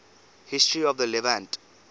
history of the levant